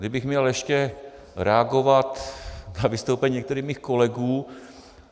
Kdybych měl ještě reagovat na vystoupení některých svých kolegů.